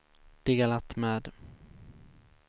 delat med